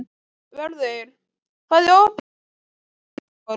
Vörður, hvað er opið lengi í Kjötborg?